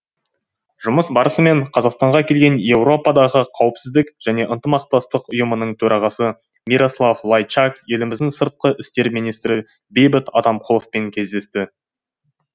жұмыс барысымен қазақстанға келген еуропадағы қауіпсіздік және ынтымақтастық ұйымының төрағасы мирослав лайчак еліміздің сыртқы істер министрі бейбіт атамқұловпен кездесті